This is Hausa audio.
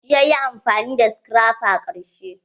Shi yayi amfani da scraper ƙarshe.